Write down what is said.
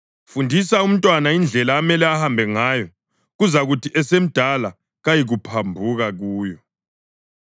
Fundisa umntwana indlela amele ahambe ngayo, kuzakuthi esemdala kayikuphambuka kuyo.